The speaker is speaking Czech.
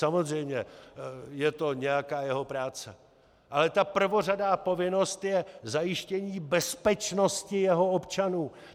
Samozřejmě, je to nějaká jeho práce, ale ta prvořadá povinnost je zajištění bezpečnosti svých občanů.